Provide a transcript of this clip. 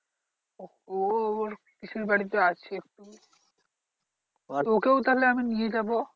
ও ওর পিসির বাড়িতে আছে। ওকেও তাহলে আমি নিয়ে যাবো।